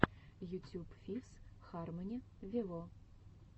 ютюб фифс хармони вево